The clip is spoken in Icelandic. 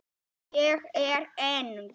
Ég er eng